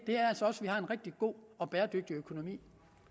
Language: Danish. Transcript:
er en rigtig god og bæredygtig økonomi